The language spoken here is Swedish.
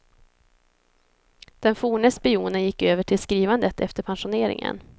Den forne spionen gick över till skrivandet efter pensioneringen.